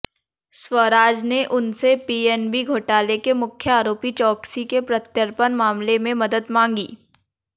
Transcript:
स्वराज ने उनसे पीएनबी घोटाले के मुख्य आरोपी चोकसी के प्रत्यर्पण मामले में मदद मांगी